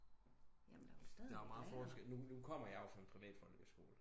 Der er jo meget forskel nu kommer jeg jo fra en privat folkeskole